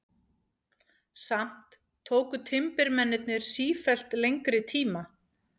Samt tóku timburmennirnir sífellt lengri tíma.